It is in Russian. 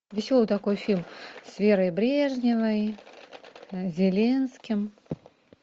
веселый такой фильм с верой брежневой зеленским